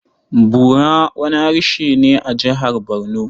Bura wani harshe ne a Jihar Barno.